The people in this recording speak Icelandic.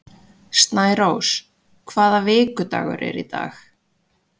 Snærós, hvaða vikudagur er í dag?